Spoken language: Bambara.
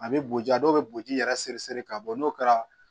A bɛ boji dɔw bɛ boji yɛrɛ seri seri ka bɔ n'o kɛra